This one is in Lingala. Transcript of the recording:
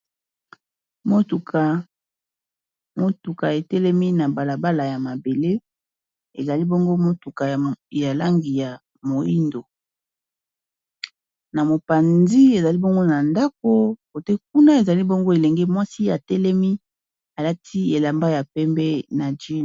Motuka e telemi na balabala ya mabele ezali bongo motuka ya langi ya moyindo . Na mopanzi ezali bongo na ndako cote kuna ezali bongo elenge mwasi a telemi a lati elamba ya pembe na jeans .